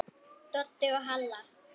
Doddi og Halla!